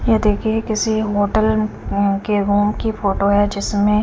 ये देखिए होटल उं के रूम की फोटो है जिसमें--